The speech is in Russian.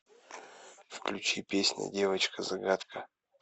включи песня девочка загадка